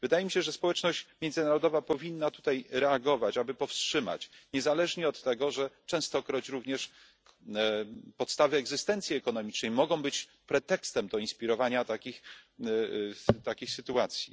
Wydaje mi się, że społeczność międzynarodowa powinna tutaj reagować, aby powstrzymać, niezależnie od tego, że częstokroć również podstawy egzystencji ekonomicznej mogą być pretekstem do inspirowania takich sytuacji.